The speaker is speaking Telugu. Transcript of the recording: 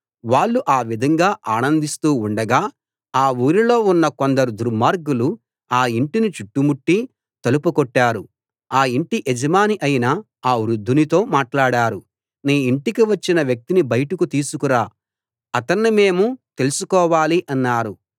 వాళ్ళు ఆ విధంగా ఆనందిస్తూ ఉండగా ఆ ఊరిలో ఉన్న కొందరు దుర్మార్గులు ఆ ఇంటిని చుట్టుముట్టి తలుపు కొట్టారు ఆ ఇంటి యజమాని అయిన ఆ వృద్దునితో మాట్లాడారు నీ ఇంటికి వచ్చిన వ్యక్తిని బయటకు తీసుకు రా అతణ్ణి మేము తెల్సుకోవాలి అన్నారు